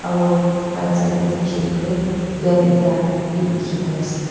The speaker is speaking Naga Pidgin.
aru right side te van ekta bhi dekhi pai ase.